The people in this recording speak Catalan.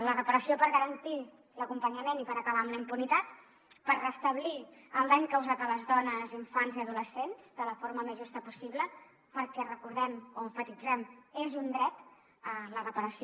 la reparació per garantir l’acompanyament i per acabar amb la impunitat per restablir el dany causat a les dones infants i adolescents de la forma més justa possible perquè recordem ho o emfatitzem ho és un dret la reparació